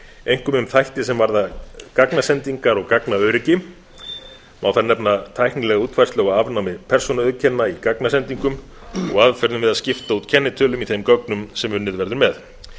einkum um þætti sem varða gagnasendingar og gagnaöryggi má þar nefna tæknilega útfærslu á afnámi persónuauðkenna í gagnasendingum og aðferðum við að skipta út kennitölum í þeim gögnum sem unnið verður með